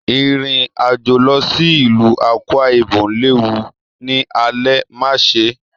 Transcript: Irin-ajo lọ sí ìlú Akwa-Ibom léwu l'alẹ̀, má ṣe!